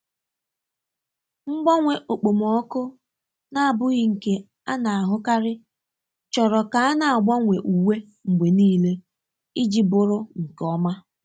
Mgbanwe okpomọkụ na-abụghị nke a na-ahụkarị choro ka a na-agbanwe uwe mgbe niile iji bụrụ nke ọma.